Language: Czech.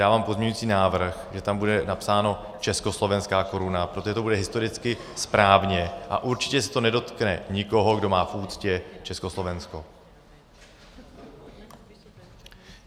Dávám pozměňující návrh, že tam bude napsáno československá koruna, protože to bude historicky správně a určitě se to nedotkne nikoho, kdo má v úctě Československo.